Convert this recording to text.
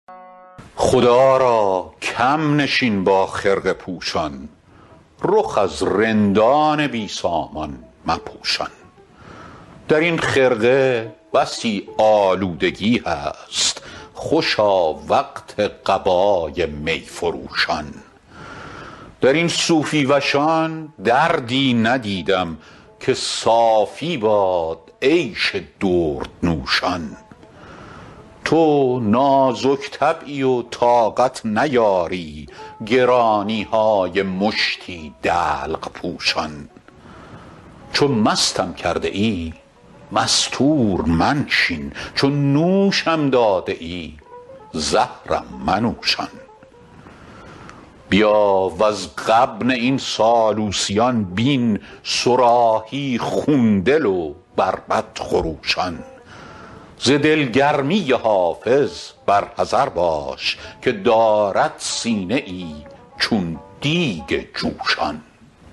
خدا را کم نشین با خرقه پوشان رخ از رندان بی سامان مپوشان در این خرقه بسی آلودگی هست خوشا وقت قبای می فروشان در این صوفی وشان دردی ندیدم که صافی باد عیش دردنوشان تو نازک طبعی و طاقت نیاری گرانی های مشتی دلق پوشان چو مستم کرده ای مستور منشین چو نوشم داده ای زهرم منوشان بیا وز غبن این سالوسیان بین صراحی خون دل و بربط خروشان ز دلگرمی حافظ بر حذر باش که دارد سینه ای چون دیگ جوشان